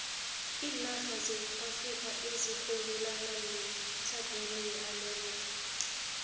iinarha zeafrika azirhwebelani nezetlhagwini yeamerika